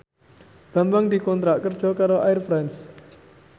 Bambang dikontrak kerja karo Air France